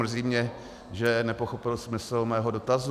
Mrzí mě, že nepochopil smysl mého dotazu.